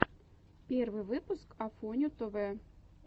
первый выпуск афоню тв